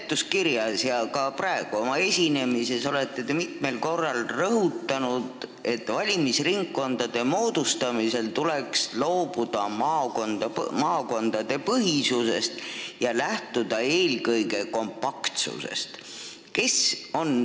Seletuskirjas ja ka praegu oma esinemises olete te mitmel korral rõhutanud, et valimisringkondade moodustamisel tuleks loobuda maakondadepõhisusest ja lähtuda tuleks eelkõige kompaktsusest.